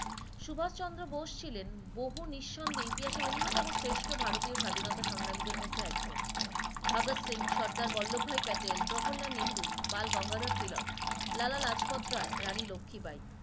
সুভাষ চন্দ্র বোস ছিলেন বহু নিঃসন্দেহে ইতিহাসের অন্যতম শ্রেষ্ঠ ভারতীয় স্বাধীনতার সংগ্রামীদের মধ্যে একজন, ভাগদ সিং সর্দার বল্লব ভাই পেটেল, জহর লাল মেহেরু, বাল গঙ্গাদা তিলো, লালা রাজপথ রায়, রানী লক্ষ্মী বাই